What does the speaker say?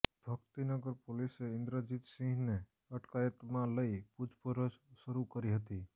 ભક્તિનગર પોલીસે ઇન્દ્રજીતસિંહને અટકાયતમાં લઇ પૂછપરછ શરૂ કરી હતી